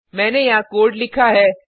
मैंने यहाँ कोड लिखा है